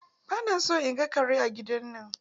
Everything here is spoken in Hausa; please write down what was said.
Ba na son in gan karen ga a gida na!